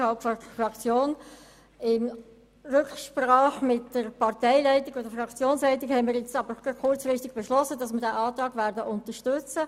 Unter Rücksprache mit der Fraktionsleitung haben wir nun aber kurzfristig beschlossen, den Antrag zu unterstützen.